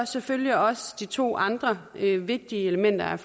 selvfølgelig også de to andre vigtige elementer